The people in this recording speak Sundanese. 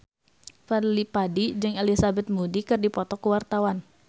Fadly Padi jeung Elizabeth Moody keur dipoto ku wartawan